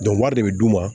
wari de bɛ d'u ma